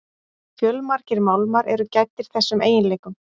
Fjölmargir málmar eru gæddir þessum eiginleikum.